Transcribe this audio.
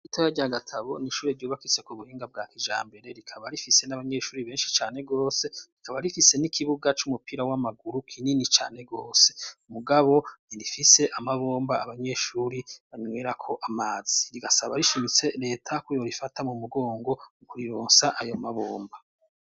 ishuri rito rya Gatabo n'ishuri ryubakitse ku buhinga bwa kijambere rikaba rifise n'abanyeshuri beshi cane gose rikaba rifise n'ikibuga c'umupira w'amaguru kinini cane gose mugabo rifise amabomba abanyeshuri banwerako amazi rigasaba rishimitse leta koyorifata mu mugongo mu kurironsa ayo ma bombo.